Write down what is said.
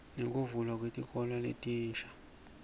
nekuvulwa kwetikolo letinsha